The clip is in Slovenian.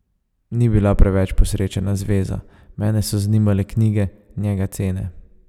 Ni bila preveč posrečena zveza, mene so zanimale knjige, njega cene.